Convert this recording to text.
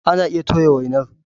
Ana iya toya wainar.